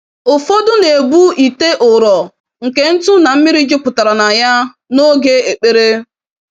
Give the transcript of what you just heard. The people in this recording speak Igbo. Ụfọdụ na-ebu ite ụrọ nke ntụ na mmiri jupụtara na ya, n'oge ekpere.